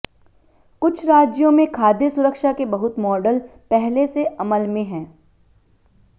कुछ राज्यों में खाद्य सुरक्षा के बहुत मॉडल पहले से अमल में हैं